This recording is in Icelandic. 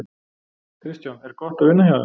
Kristján: Er gott að vinna hjá þeim?